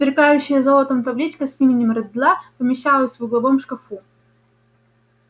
сверкающая золотом табличка с именем реддла помещалась в угловом шкафу